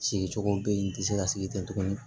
Sigicogo bɛ yen n tɛ se ka sigi ten tugun